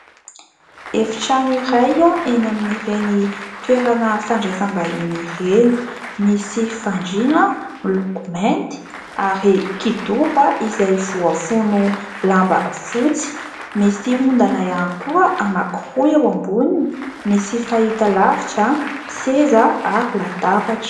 Efitrano iray eny amin'ireny toerana fandraisam-bahiny ireny, misy fandriana miloko mainty ary kidoro izay voafono lamba fotsy, misy ondana ihany koa anankiroa eo amboniny, misy fahita-lavitra, seza ary latabatra.